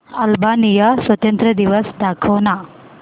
Albania स्वातंत्र्य दिवस दाखव ना